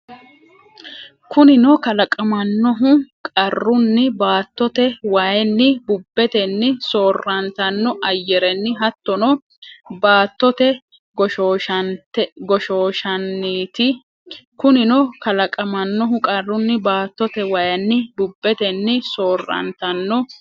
Kunino kalaqamannohu qarunni baattote wayinni, bubbetenni, soor- rantanno ayyarenni, hattono baattote goshooshanniiti Kunino kalaqamannohu qarunni baattote wayinni, bubbetenni, soor- rantanno.